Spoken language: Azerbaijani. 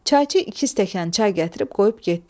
Çayçı iki stəkan çay gətirib qoyub getdi.